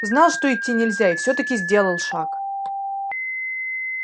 знал что идти нельзя и всё-таки сделал шаг